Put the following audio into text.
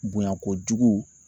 Bonya kojugu